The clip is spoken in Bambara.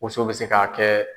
Woso bɛ se ka kɛ